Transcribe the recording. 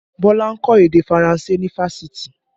Bọlá ń kọ́ èdè Faranse ní Fáṣítì